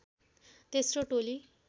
तेस्रो टोली